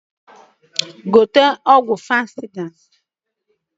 Gote ọgwụ fansịda!